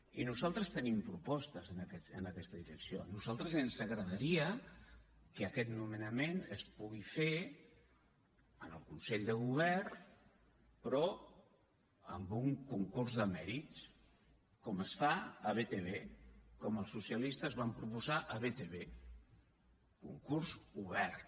i nosaltres tenim propostes en aquesta direcció a nosaltres ens agradaria que aquest nomenament es pugui fer en el consell de govern però amb un concurs de mèrits com es fa a btv com els socialistes vam proposar a btv concurs obert